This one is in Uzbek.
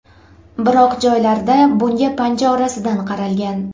Biroq joylarda bunga panja orasidan qaralgan.